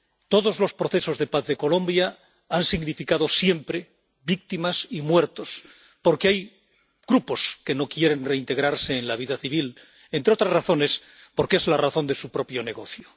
Todos los procesos de paz de Colombia han significado siempre víctimas y muertos. Porque hay grupos que no quieren reintegrarse en la vida civil, entre otras razones, porque es la razón de su propio negocio.